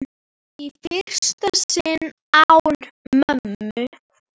Í fyrsta sinn án mömmu.